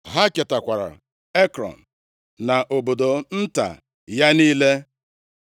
Ha ketakwara Ekrọn, na obodo nta ya niile.